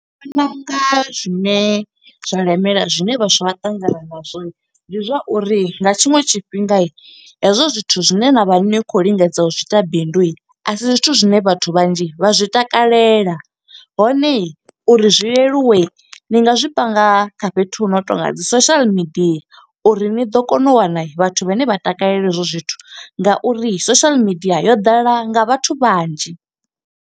Ndi vhona u nga zwine zwa lemela, zwine vhaswa vha ṱangana nazwo. Ndi zwa uri nga tshiṅwe tshifhinga hezwo zwithu zwine na vha ni khou lingedza u zwiita bindu, a si zwithu zwine vhathu vhanzhi vha zwi takalela. Hone uri zwi leluwe ni nga zwi panga kha fhethu hu no tonga dzi social media, uri ni ḓo kona u wana vhathu vhane vha takalela hezwo zwithu. Ngauri social media yo ḓala nga vhathu vhanzhi.